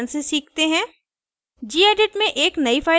इसको एक उदहारण से सीखते हैं